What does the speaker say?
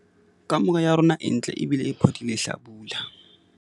Kamore ya rona e ntle ebile e phodile hlabula.